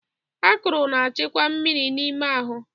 Akụrụ na-achịkwa mmiri n'ime ahụ.